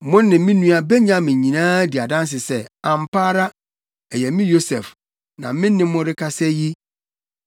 “Mo ne me nua Benyamin nyinaa di adanse sɛ, ampa ara, ɛyɛ me Yosef na me ne morekasa yi.